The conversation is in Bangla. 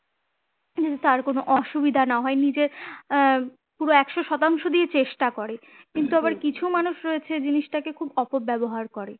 কিন্তু তার কোনো অসুবিধা না হয় নিজের আহ পুরো একশো শতাংশ দিয়ে চেষ্টা করে কিন্তু আবার কিছু মানুষ রয়েছে জিনিসটাকে খুব অপব্যবহার করে